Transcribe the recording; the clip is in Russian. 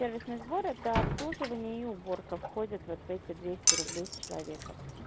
сервисный сбор это обслуживание и уборка входят вот в эти двести рублей с человека